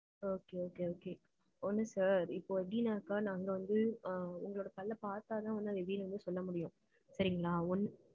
Okay okay okay. ஒண்ணு sir, இப்போ எப்படின்னாக்க, நாங்க வந்து, அ, உங்களோட பல்ல பார்த்தாதான் வந்து, அது எப்படின்னு வந்து சொல்ல முடியும். சரிங்களா? ஒண்ணு